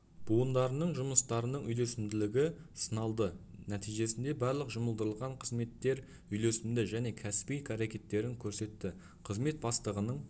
буындарының жұмыстарының үйлесімділігі сыналды нәтижесінде барлық жұмылдырылған қызметтер үйлесімді және кәсіби әрекеттерін көрсетті қызмет бастығының